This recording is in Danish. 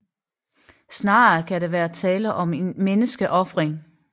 Snarere kan der være tale om en menneskeofring